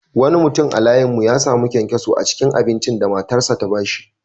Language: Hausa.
Wani mutum a layin mu ya sami kyankyaso a cikin abincin da matarsa ​​ta ba shi.